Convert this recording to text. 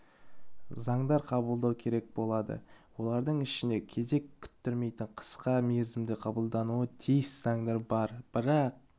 заңдар қабылдау керек болады олардың ішінде кезек күттірмейтін қысқа мерзімде қабылдануы тиіс заңдар бар бірақ